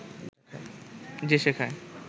যে শাখায়